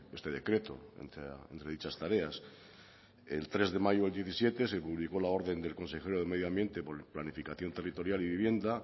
este decreto entre dichas tareas el tres de mayo del diecisiete se publicó la orden del consejero de medio ambiente planificación territorial y vivienda